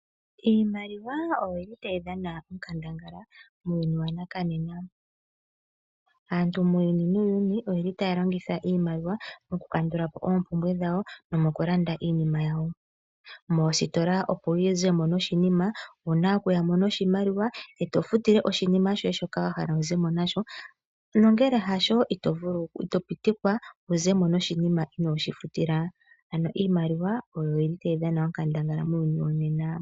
Iimaliwa oyi li tayi dhana onkandangala muuyuni wanakanena. Aantu muuyuni nuuyuni oye li taya longitha iimaliwa oku kandula po oompumbwe dhawo nomo ku landa iinima yawo. Moositola opo wu ze mo noshininima, owu na okuya mo noshimaliwa, e to futile oshinima shoye shoka wa hala wuze mo nasho. Nongele hasho ito pitikwa wuze mo noshininima inooshi futila. Ano iimaliwa oyo yili tayi dhana onkandangala muuyuni wonena.